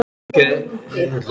Eða bara fullur.